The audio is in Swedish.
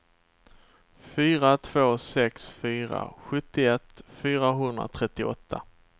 fyra två sex fyra sjuttioett fyrahundratrettioåtta